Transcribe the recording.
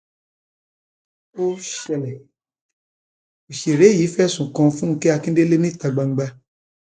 ó ṣẹlẹ òṣèré yìí fẹsùn kan fúnkẹ akíndélé níta gbangba